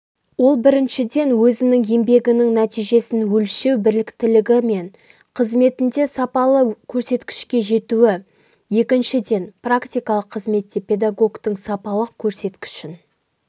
ол біріншіден өзінің еңбегінің нәтижесін өлшеу біліктілігі мен қызметінде сапалы көрсеткішке жетуі екіншіден практикалық қызметте педагогтың сапалық көрсеткішін